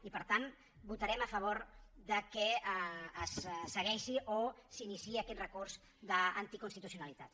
i per tant votarem a favor que es segueixi o s’iniciï aquest recurs d’anticonstitucionalitat